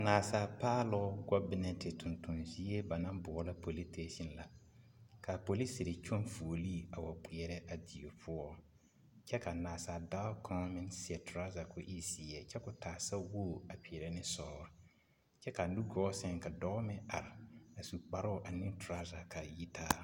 Naasaal paaloŋ gɔbenɛnte tontoŋ zie ba naŋ boɔlɔ politeesiŋ la, k'a polisiri kyɔŋ fuolii a wa kpeɛrɛ a die poɔ kyɛ ka nasa-dɔɔ kaŋ meŋ seɛ torɔza k'o e zeɛ kyɛ k'o taa sawogi a peerɛ ne sɔɔre kyɛ k'a nugɔɔ seŋ meŋ ka dɔɔ meŋ are su kparoo ane torɔza k'a yitaa.